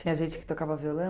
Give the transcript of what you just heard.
Tinha gente que tocava violão?